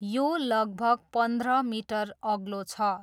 यो लगभग पन्ध्र मिटर अग्लो छ।